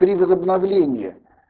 при возобновлении